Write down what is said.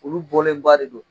Olu bɔlen ba de don